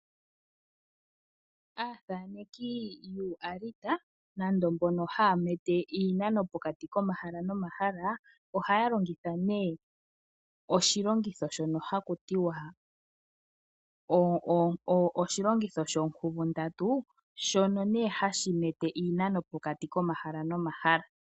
Aathaneki yuualita nande mbono haya tala iinano pokati komahala nomahala , ohaya longitha oshilongitho shono haku tiwa oshilongitho shoonkuvundatu shono hashi mete iinano pokati komahala nomahala.